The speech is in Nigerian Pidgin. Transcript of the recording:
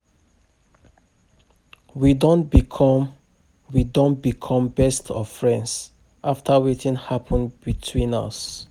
We don become We don become best of friends after wetin happen between us